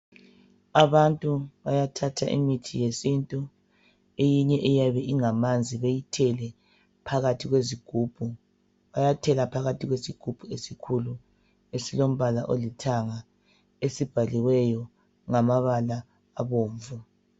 Abantu bayathatha imithi yesintu eyinye eyabe ingamanzi beyithele phakathi kwezigubhu. Bayathela phakathi kwesigubhu esikhulu, esilombala olithanga, esibhaliweyo ngamabala abomvu.